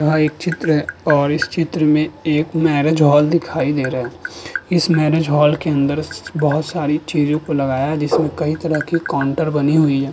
यह एक चित्र और इस चित्र में एक मैंरिज हॉल दिखाई दे रहा। इस मैंरिज हॉल के अंदर बहुत सारी चीजों को लगाया जिसे कई तरह के काउंटर बनी हुई है।